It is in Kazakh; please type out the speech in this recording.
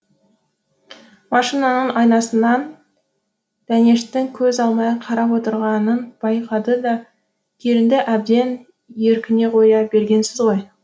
машинаның айнасынан дәнештің көз алмай қарап отырғанын байқады да келінді әбден еркіне қоя бергенсіз ғой